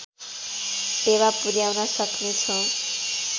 टेवा पुर्‍याउन सक्नेछौँ